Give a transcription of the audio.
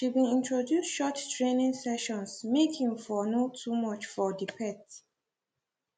she been introduce short training sessions make e for no too much for the pet